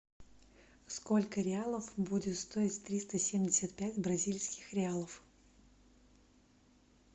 сколько реалов будет стоить триста семьдесят пять бразильских реалов